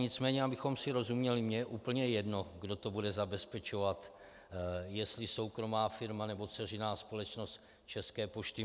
Nicméně abychom si rozuměli, mně je úplně jedno, kdo to bude zabezpečovat, jestli soukromá firma, nebo dceřiná společnost České pošty.